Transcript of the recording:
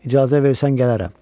İcazə versən gələrəm.